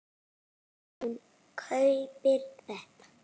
Hún kaupir þetta.